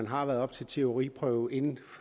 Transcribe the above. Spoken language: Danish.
har været til teoriprøve inden